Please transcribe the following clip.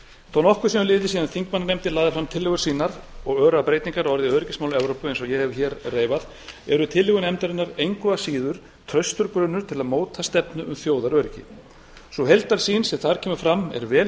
þó nokkuð sé um liðið síðan þingmannanefndin lagði fram tillögur sínar og örar breytingar á öryggismálum evrópu eins og ég hef hér reifað eru tillögur nefndarinnar engu að síður fastur grunnur til að móta stefnu um þjóðaröryggi sú heildarsýn sem þar kemur fram er vel